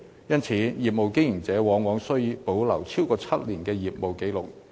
因此，業務經營者往往需保留超過7年的業務紀錄。